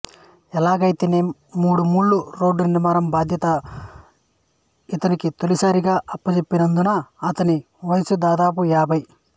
ఎలాగైతేనేమి మూడు మైళ్ళ రోడ్డు నిర్మాణం బాధ్యత ఇతనికి తొలిసారిగా అప్పజెప్పినపుదు ఇతని వయస్సు దాదాపు యాభై